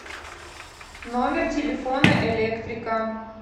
номер телефона электрика